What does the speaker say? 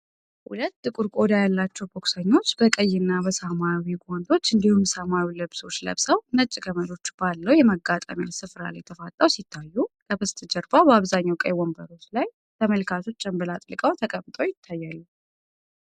ሁለት ጥቁር ቆዳ ያላቸው ቦክሰኞች በቀይና በሰማያዊ ጓንቶች እንዲሁም ሰማያዊ ልብሶች ለብሰው፣ ነጭ ገመዶች ባለው የመጋጠሚያ ስፍራ ላይ ተፋጠው ሲታዩ፣ ከበስተጀርባ በአብዛኛው ቀይ ወንበሮች ላይ ተመልካቾች ጭምብል አጥልቀው ተቀምጠው ይታያሉ።